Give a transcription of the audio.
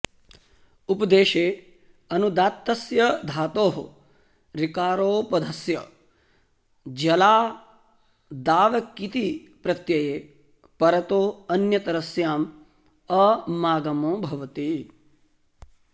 उपदेशे ऽनुदात्तस्य धातोः ऋकारोपधस्य ज्ञलादावकिति प्रत्यये परतो ऽन्यतरस्याम् अमागमो भवति